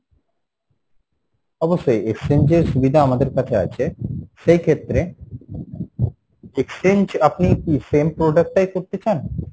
অবশ্যই exchange এর সুবিধা আমাদের কাছে আছে, সেইক্ষেত্রে exchange আপনি কী same product টাই করতে চান?